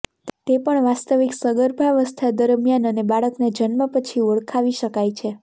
તે પણ વાસ્તવિક સગર્ભાવસ્થા દરમિયાન અને બાળકના જન્મ પછી ઓળખાવી શકાય છે